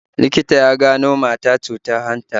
Likita ya gano mata cutar hanta